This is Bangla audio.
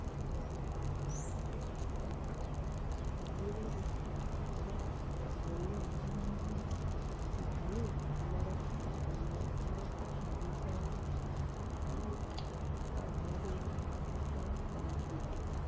সজনিবাবু আমায় বললেন ভানু আমার একটা কা আমা আমার একটা কাগজ দাও তো। আমি আ আমাদের একটা pad দিলাম